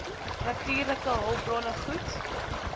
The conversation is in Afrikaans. natuurlike hulpbronne goed